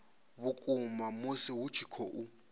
vhukuma musi hu tshi khou